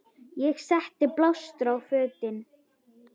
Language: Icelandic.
Ég setti blástur á fötin.